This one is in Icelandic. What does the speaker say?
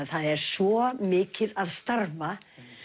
er svo mikið að starfa